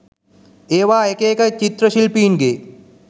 ඒවා එක එක චිත්‍ර ශිල්පීන්ගේ